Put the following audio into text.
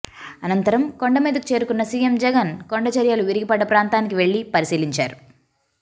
అనంతరం కొండమీదకు చేరుకున్న సీఎం జగన్ కొండచరియలు విరిగిపడ్డ ప్రాంతానికి వెళ్లి పరిశీలించారు